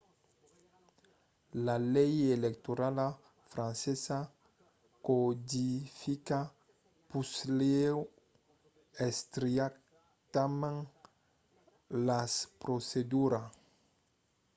la lei electorala francesa codifica puslèu estrictament las proceduras